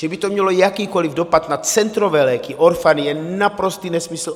Že by to mělo jakýkoli dopad na centrové léky, orphan, je naprostý nesmysl.